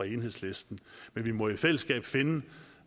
enhedslisten men vi må i fællesskab finde